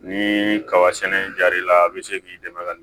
Ni kaba sɛnɛ jar'i la a bɛ se k'i dɛmɛ ka